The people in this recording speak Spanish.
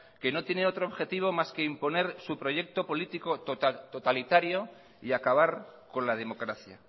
que no tiene otro objetivo más que imponer su proyecto político totalitario y acabar con la democracia